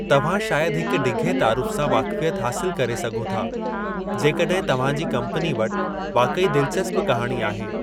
तव्हां शायदि हिक डिघे तारुफ़ु सां वाक़ुफ़ियत हासिलु करे सघो था जेकॾहिं तव्हां जी कम्पनी वटि वाक़ई दिलचस्प कहाणी आहे।